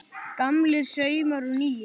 Gamlir saumar og nýir